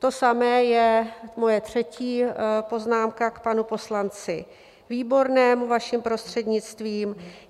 To samé je moje třetí poznámka k panu poslanci Výbornému, vaším prostřednictvím.